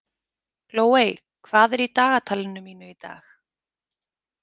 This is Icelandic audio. Glóey, hvað er í dagatalinu mínu í dag?